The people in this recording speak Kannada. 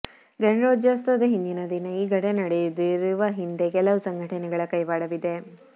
ಗಣರಾಜ್ಯೋತ್ಸವದ ಹಿಂದಿನ ದಿನ ಈ ಘಟನೆ ನಡೆದಿರುವ ಹಿಂದೆ ಕೆಲವು ಸಂಘಟನೆಗಳ ಕೈವಾಡವಿದೆ